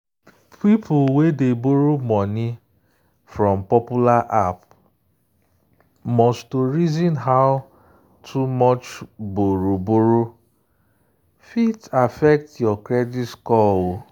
people wey dey borrow money from popular app must to reason how too much borrow-borrow fit affect your credit score.